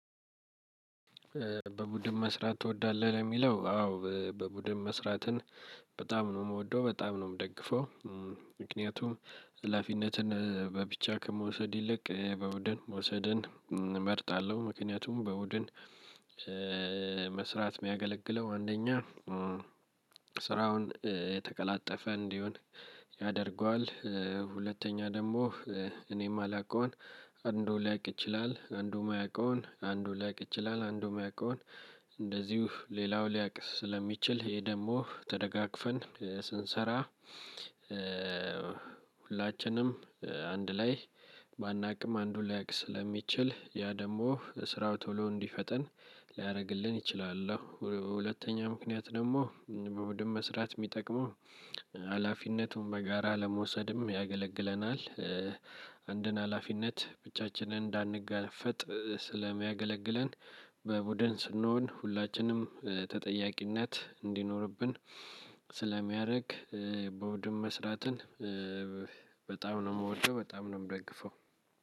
በቡድን መስራት ትወዳለህ ለሚለው አዎ በቡድን መስራትን በጣም ነው ምወደው በጣም ነው ምደግፈው። ምክንያቱም ሃላፊነትን በብቻ ከመውሰድ ይልቅ በቡድን መውሰድን እመርጣለሁ ምክንያቱም በቡድን መስራት ሚያገለግለው አንደኛ ስራውን የተቀላጠፈ እንዲሆን ያደርገዋል። ሁለተኛ ደግሞ እኔም ማላቀውን አንዱ ሊያቅ ይችላል አንዱም ማያቀውን አንዱም ሊያቅ ይችላል አንዱ የማያቀውን እንደዚሁ ሌላው ሊያቅ ስለሚችል ይሄ ደግሞ ተደጋግፈን ስንሰራ። ሁላችንም አንድ ላይ ባናቅም አንዱ ሊያቅ ስለሚችል ያ ደሞ ስራው ቶሎ እንዲፈጠን ሊያረግልን ይችላል። አው ሁለተኛው ምክንያት ደግሞ በቡድን መስራት የሚጠቅመው ሀላፊነቱን በጋራ ለመውሰድም ያገለግለናል። አንድን ሀላፊነት ብቻችንን እንዳንጋፈጥ ስለሚያገለግለን። በቡድን ስንሆን ሁላችንም ተጠያቂነት እንዲኖርብን ስለሚያረግ በቡድን መስራትን በጣም ነው ምወደው በጣም ነው ምደግፈው።